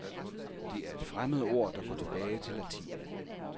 Det er et fremmedord, der går tilbage til latin.